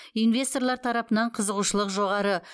инвесторлар тарапынан қызығушылық жоғары